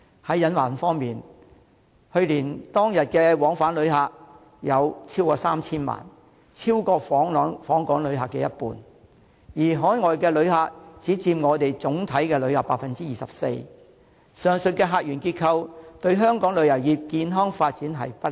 在隱患方面，去年當日往返旅客超過 3,000 萬人，超過訪港旅客的一半；而海外旅客只佔總體旅客的 24%， 上述客源結構對香港旅遊業的健康發展不利。